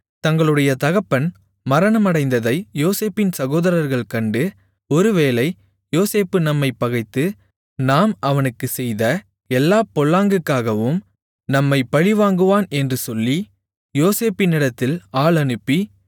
தங்களுடைய தகப்பன் மரணமடைந்ததை யோசேப்பின் சகோதரர்கள் கண்டு ஒரு வேளை யோசேப்பு நம்மைப் பகைத்து நாம் அவனுக்குச் செய்த எல்லாப் பொல்லாங்குக்காகவும் நம்மை பழிவாங்குவான் என்று சொல்லி யோசேப்பினிடத்தில் ஆள் அனுப்பி